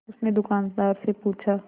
उसने दुकानदार से पूछा